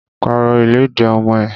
Pàrọ̀ ìlẹ́dì ọmọ ẹ!